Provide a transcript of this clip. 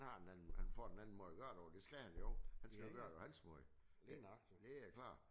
Han har han har en han får en anden måde at gøre det på det skal han jo. Han skal gøre det på hans måde. Det er klart